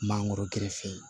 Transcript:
Mangoro gerefe